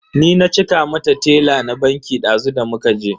Ni na cika mata tela na banki dazu da muka je.